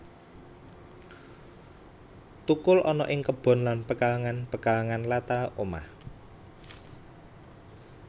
Tukul ana ing kebon lan pekarangan pekarangan latar omah